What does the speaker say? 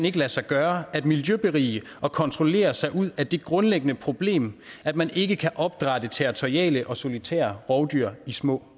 ikke lade sig gøre at miljøberige og kontrollere sig ud af det grundlæggende problem at man ikke kan opdrætte territoriale og solitære rovdyr i små